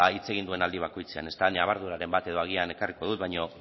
hitz egin duen aldi bakoitzean nabarduraren bat edo agian ekarriko dut baina